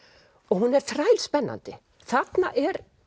hún er þrælspennandi þarna er